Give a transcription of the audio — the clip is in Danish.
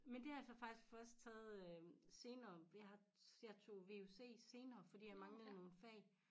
Men det har jeg så faktisk først taget øh senere jeg jeg tog vuc senere fordi jeg manglede nogle fag